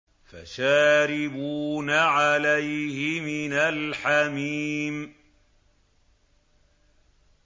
فَشَارِبُونَ عَلَيْهِ مِنَ الْحَمِيمِ